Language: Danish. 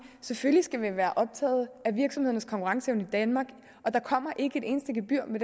selvfølgelig skal vi være optaget af virksomhedernes konkurrenceevne i danmark og der kommer ikke et eneste gebyr med